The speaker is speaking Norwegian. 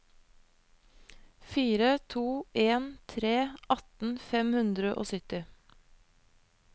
fire to en tre atten fem hundre og sytti